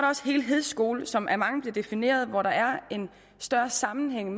også helhedsskolen som af mange bliver defineret hvor der er en større sammenhæng